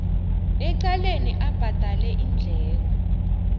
ecaleni abhadale iindleko